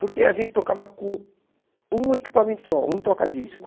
Porque a gente tocava com um equipamento só, um toca-disco.